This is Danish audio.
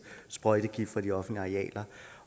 sprøjtegift fra de offentlige arealer